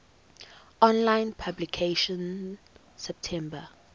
online publication september